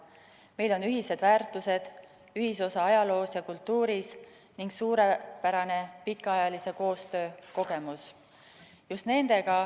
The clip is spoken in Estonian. Meil on ühised väärtused, ühisosa ajaloos ja kultuuris ning suurepärane pikaajalise koostöö kogemus.